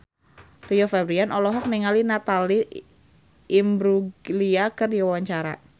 Rio Febrian olohok ningali Natalie Imbruglia keur diwawancara